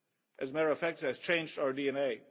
As a matter of fact it has changed our DNA.